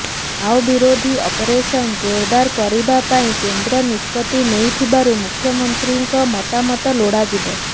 Mao ବିରୋଧୀ operation ଜୋରଦାର କରିବା ପାଇଁ କେନ୍ଦ୍ର ନିଷ୍ପତି ନେଇଥିବାରୁ ମୁଖ୍ୟମନ୍ତ୍ରୀମାନଙ୍କ ମତାମତ ଲୋଡାଯିବ